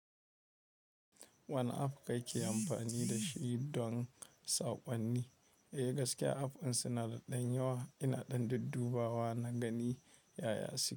Wani app kake amfani da shi don sakonni? Eh, gaskiya app ɗin suna da ɗanyawa ina ɗan dudduɓawa na gani ya yasi.